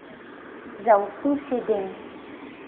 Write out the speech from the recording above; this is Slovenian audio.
Za okus jedem.